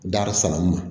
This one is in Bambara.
Darisanuma